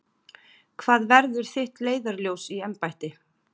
Hvað verður þitt leiðarljós í embætti?